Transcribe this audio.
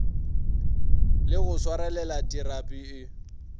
le go swarelela terapi e